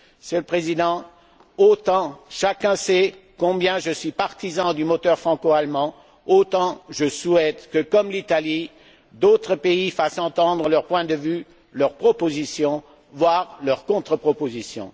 Monsieur le Président, autant chacun sait combien je suis partisan du moteur franco allemand, autant je souhaite que, comme l'Italie, d'autres pays fassent entendre leurs points de vues, leurs propositions, voire leurs contre propositions.